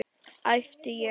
æpti ég.